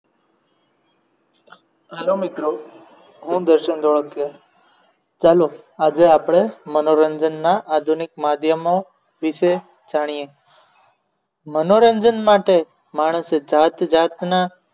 hello મિત્રો હું દર્શન ધોળકિયા ચાલો આજે આપણે મનોરંજનના આધુનિક માધ્યમો વિશે જાણીએ મનોરંજન માટે માણસે જાત જાતના નુસખા શોધી કાઢ્યા છે